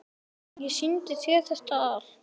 Ég sýndi þér þetta allt.